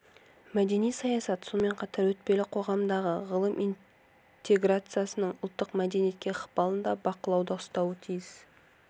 мәдени саясат сонымен қатар өтпелі қоғамдағы ғылым интеграциясының ұлттық мәдениетке ықпалын да бақылауда ұстауы тиіс